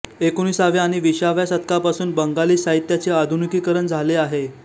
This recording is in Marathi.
एकोणिसाव्या आणि विसाव्या शतकापासून बंगाली साहित्याचे आधुनिककरण झाले आहे